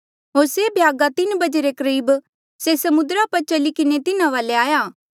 होर से भ्यागा तीन बजे रे करीब से समुद्रा पर चली किन्हें तिन्हा वाले आया